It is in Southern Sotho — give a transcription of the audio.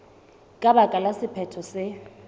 ka baka la sephetho se